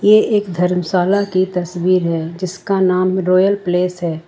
ये एक धर्मशाला की तस्वीर है जिसका नाम रॉयल प्लेस है।